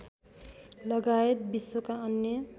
लगायत विश्वका अन्य